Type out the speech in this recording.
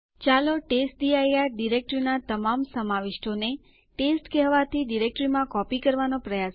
ચાલો હું સ્લાઇડ્સ પર ફરીથી જાઉં